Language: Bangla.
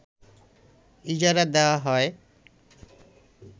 ইজারা দেয়া হয়